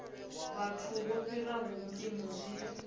vhathu vho fhiraho mpimo zwi